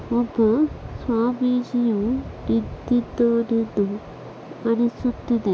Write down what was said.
ಒಬ್ಬ ಸ್ವಾಮಿಜಿಯು ನಿಂತ್ತಿದ್ದಾನೆ ಎಂದು ಅನಿಸುತ್ತಿದೆ.